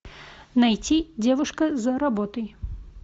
найти девушка за работой